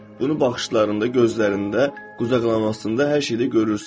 Bunu baxışlarında, gözlərində, qucaqlamasında, hər şeydə görürsən.